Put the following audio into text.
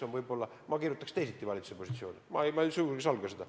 Ma paneksin valitsuse positsiooni teistsugusena kirja, ma sugugi ei salga seda.